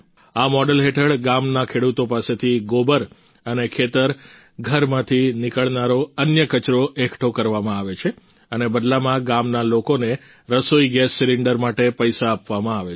આ મોડલ હેઠળ ગામના ખેડૂતો પાસેથી ગોબર અને ખેતરઘરમાંથી નીકળનારો અન્ય કચરો એકઠો કરવામાં આવે છે અને બદલામાં ગામના લોકોને રસોઈ ગેસ સિલિંડર માટે પૈસા આપવામાં આવે છે